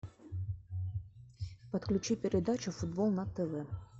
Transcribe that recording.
подключи передачу футбол на тв